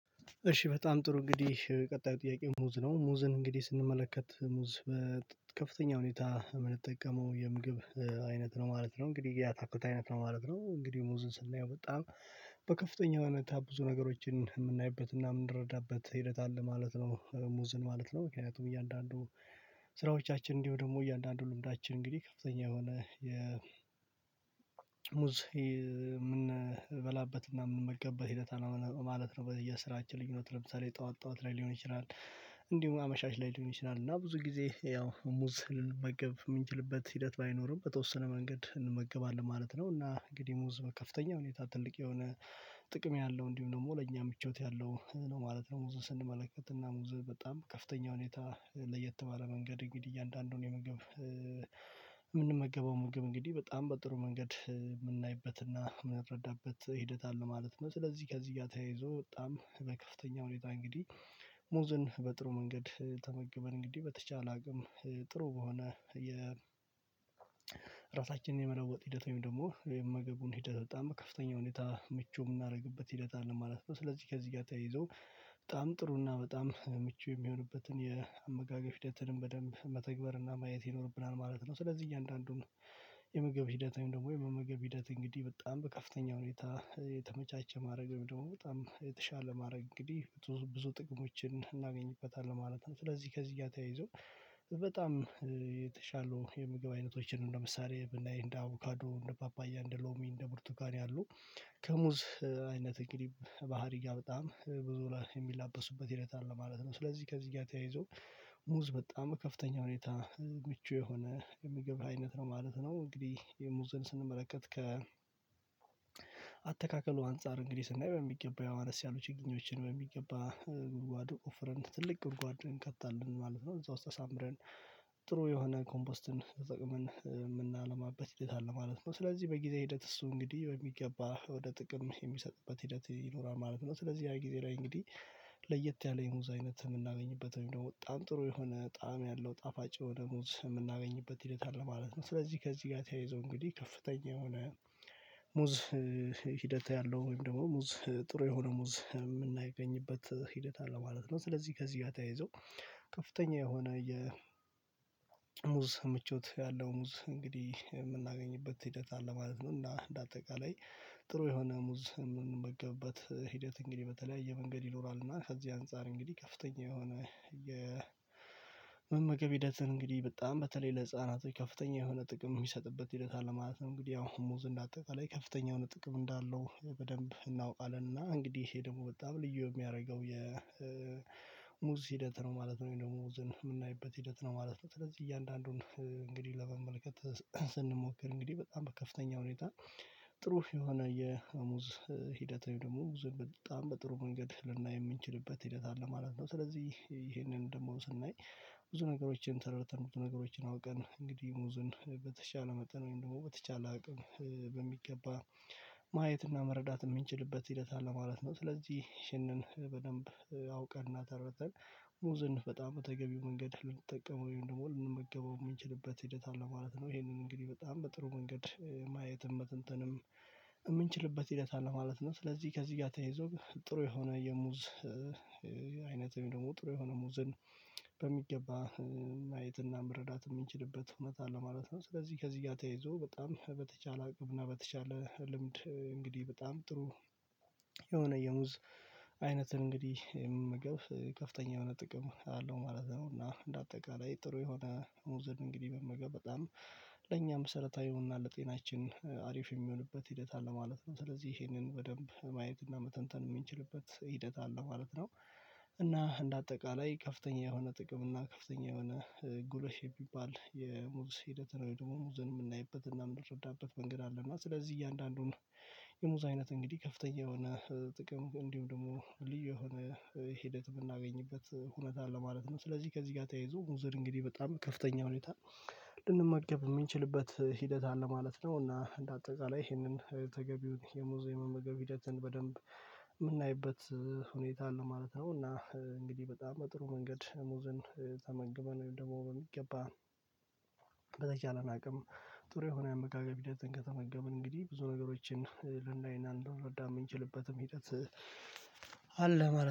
እሺ በጣም ጥሩ እንግዲህ ቀጣዩ ጥያቄ ሙዝ ነው ሙዝን እንግዲህ ስንመለከት ሙዝ በከፍተኛ ሁኔታ የምንጠቀመው የምግብ አይነት ነው ማለት ነው። እንግዲህ ያአታክልት አይነት ነው ማለት ነው። እንግዲህ ሙዝን ስናየው በጣም በከፍተኛ የሆነታ ብዙ ነገሮችን የምናይበት እና የምንረዳበት ሂደት አለ ማለት ነው። ሙዝን ማለት ነው ምክንያቱም እያንዳንዱ ስራዎቻችን እንዲሁ ደግሞ እያንዳንዱ ልምዳችን እንግዲህ ከፍተኛ የሆነ ሙዝ የምንበላበትና የምንመገበት ሂደት አለ ማለት ነው። በየስራችን ልዩነት ለምሳሌ ጠዋት ጠዋት ላይ ሊሆን ይችላል። እንዲሁም አመሻሽ ላይ ሊሆን ይችላል እና ብዙ ጊዜ ያው ሙዝ ልንመገብ የምንችልበት ሂደት ባይኖርም በተወሰነ መንገድ እንመገባለን ማለት ነው። እና እንግዲህ ሙዝ በከፍተኛ ሁኔታ ትልቅ የሆነ ጥቅም ያለው እንዲሁም ደግሞ ለእኛ ምቾት ያለው ነው ማለት ነው። ሙዝ ስንመለከት እና ሙዝ በጣም ከፍተኛ ሁኔታ ለየት ባለ መንገድ እንግዲህ እያንዳንዱን የምግብ የምንመገበው ምግብ እንግዲህ በጣም በጥሩ መንገድ የምናይበትና የምንረዳበት ሂደት አለ ማለት ነው። ስለዚህ ከዚህ ጋር ተያይዞ በጣም በከፍተኛ ሁኔታ እንግዲህ ሙዝን በጥሩ መንገድ ተመግበን እንግዲህ በተቻለ አቅም ጥሩ በሆነ የ ራሳችንን የመለወጥ ሂደት ወይም ደግሞ ወይም ምግቡን ሂደት በጣም በከፍተኛ ሁኔታ ምቹ የምናደርግበት ሂደት አለ ማለት ነው። ስለዚህ ከዚህ ጋር ተያይዞ በጣም ጥሩና በጣም ምቹ የሚሆንበትን የአመጋገብ ሂደትንም በደንብ መተግበርና ማየት ይኖርብናል ማለት ነው። ስለዚህ እያንዳንዱን የምግብ ሂደት ወይም ደግሞ የመመገብ ሂደት እንግዲህ በጣም በከፍተኛ ሁኔታ የተመቻቸ ማድረግ ወይም ደግሞ በጣም የተሻለ ማድረግ እንግዲህ ብዙ ጥቅሞችን እናገኝበታለን ማለት ነው። ስለዚህ ከዚህ ጋር ተያይዞ በጣም የተሻሉ የምግብ አይነቶችን ለምሳሌ ብናይ እንደ አቮካዶ እንደ ፓፓያ እንደ ሎሚ እንደ ቡርቱካን ያሉ ከሙዝ አይነት እንግዲህ ባህሪ ጋር በጣም ብዙ ላይ የሚላበሱበት ሂደት አለ ማለት ነው። ስለዚህ ከዚህ ጋር ተያይዞ ሙዝ በጣም ከፍተኛ ሁኔታ ምቹ የሆነ የሚገባ አይነት ነው ማለት ነው። እንግዲህ የሙዝን ስንመለከት ከ አተካከሉ አንፃር እንግዲህ ስናይ በሚገባ አነስ ያሉ ችግኞችን በሚገባ ጉድጓድ ቆፍረን ትልቅ ጉድጓድ እንከታለን ማለት ነው። እዛው ውስጥ አሳምረን ጥሩ የሆነ ኮምፖስትን ተጠቅመን የምናለማበት ሂደት አለ ማለት ነው። ስለዚህ በጊዜ ሂደት እሱ እንግዲህ በሚገባ ወደ ጥቅም የሚሰጥበት ሂደት ይኖራል ማለት ነው። ስለዚህ ያ ጊዜ ላይ እንግዲህ ለየት ያለ የሙዝ አይነት የምናገኝበት ወይም ደግሞ በጣም ጥሩ የሆነ ጣዕም ያለው ጣፋጭ የሆነ ሙዝ የምናገኝበት ሂደት አለ ማለት ነው። ስለዚህ ከዚህ ጋር ተያይዞ እንግዲህ ከፍተኛ የሆነ ሙዝ ሂደት ያለው ወይም ደግሞ ሙዝ ጥሩ የሆነ ሙዝ የምናገኝበት ሂደት አለ ማለት ነው። ስለዚህ ከዚህ ጋር ተያይዞ ከፍተኛ የሆነ የሙዝ ምቾት ያለው ሙዝ እንግዲህ የምናገኝበት ሂደት አለ ማለት ነው። እና እንደ አጠቃላይ ጥሩ የሆነ ሙዝ የምንመገብበት ሂደት እንግዲህ በተለያየ መንገድ ይኖራል። እና ከዚህ አንፃር እንግዲህ ከፍተኛ የሆነ መመገብ ሂደትን እንግዲህ በጣም በተለይ ለህፃናት ከፍተኛ የሆነ ጥቅም የሚሰጥበት ሂደት አለ። ማለት እንግዲህ አሁን ሙዝ እንዳጠቃላይ ከፍተኛ የሆነ ጥቅም እንዳለው በደንብ እናውቃለን እና እንግዲህ ይሄ ደግሞ በጣም ልዩ የሚያደርገው የ የሙዝ ሂደት ነው ማለት ነው። ወይም ሙዝ የምናይበት ሂደት ነው ማለት ነው። ስለዚህ እያንዳንዱን እንግዲህ ለመመልከት ስንሞክር እንግዲህ በጣም በከፍተኛ ሁኔታ ጥሩ የሆነ የሙዝ ሂደት ወይ ደግሞ ብዙ በጣም በጥሩ መንገድ ልናይ የምንችልበት ሂደት አለ ማለት ነው። ስለዚህ ይሄንን ደግሞ ስናይ ብዙ ነገሮችን ተረድተን ብዙ ነገሮችን አውቀን እንግዲህ ሙዝን በተሻለ መጠን ወይም ደግሞ በተቻለ አቅም በሚገባ ማየትና መረዳት የምንችልበት ሂደት አለ ማለት ነው። ስለዚህ ይህንን በደንብ አውቀንና ተረድተን ሙዝን በጣም በተገቢው መንገድ ልንጠቀመው ወይም ደግሞ ልንመገበው የምንችልበት ሂደት አለ ማለት ነው። ይሄንን እንግዲህ በጣም በጥሩ መንገድ ማየትም መተንተንም የምንችልበት ሂደት አለ ማለት ነው። ስለዚህ ከዚህ ጋር ተያይዞ ጥሩ የሆነ የሙዝ አይነት ወይም ደግሞ ጥሩ የሆነ ሙዝን በሚገባ ማየትና መረዳት የምንችልበት እውነት አለ ማለት ነው። ስለዚህ ከዚህ ጋር ተያይዞ በጣም በተቻለ አቅምና በተቻለ ልምድ እንግዲህ በጣም ጥሩ የሆነ የሙዝ አይነትን እንግዲህ መመገብ ከፍተኛ የሆነ ጥቅም አለው ማለት ነው። እና እንደ አጠቃላይ ጥሩ የሆነ እንግዲህ መመገብ በጣም ለኛም መሰረታዊና ይሁንና ለጤናችን አሪፍ የሚሆንበት ሂደት አለ ማለት ነው። ስለዚህ ይሄንን በደንብ ማየትና መተንተን የሚችልበት ሂደት አለ ማለት ነው። እና እንደ አጠቃላይ ከፍተኛ የሆነ ጥቅም እና ከፍተኛ የሆነ ጉረሽ የሚባል የሙዝ ሂደትን ወይም ደግሞ ሙዝን የምናይበት እና የምንረዳበት መንገድ አለ እና ስለዚህ እያንዳንዱን የሙዝ አይነት እንግዲህ ከፍተኛ የሆነ ጥቅም እንዲሁ ደግሞ ልዩ የሆነ ሂደት የምናገኝበት ሁኔታ አለ ማለት ነው። ስለዚህ ከዚህ ጋር ተያይዞ ሙዝ እንግዲህ በጣም ከፍተኛ ሁኔታ ልንመገብ የምንችልበት ሂደት አለ ማለት ነው። እና እንደ አጠቃላይ ይሄንን ተገቢውን የሙዝ የመመገብ ሂደትን በደንብ የምናይበት ሁኔታ አለ ማለት ነው። እና እንግዲህ በጣም በጥሩ መንገድ ሙዝን ተመግበን ወይም ደግሞ በሚገባ በተቻለን አቅም ጥሩ የሆነ የአመጋገብ ሂደትን ከተመገበን እንግዲህ ብዙ ነገሮችን ልናይና ልንረዳ የምንችልበትም ሂደት አለ ማለት